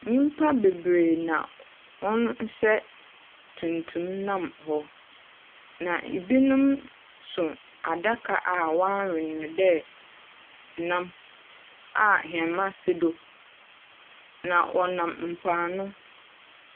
Nnipa bebree na wɔn hyɛ tumtum nam hɔ. Na ebinom so adaka a wayɛ no sɛ nam a ahoma sen do na wɔnam mpoano.